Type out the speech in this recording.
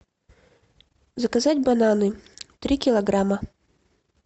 заказать бананы три килограмма